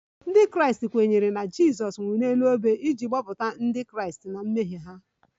Ndị Kraịst kwenyere na Jizọs nwụrụ n'elu obe iji gbapụta Ndị Kraịst na mmehie ha